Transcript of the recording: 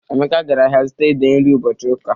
Emeka gara ahịa zụta ede nri ụbọchị ụka.